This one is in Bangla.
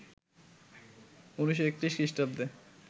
১৯৩১ খ্রিস্টাব্দে